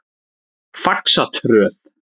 Faxatröð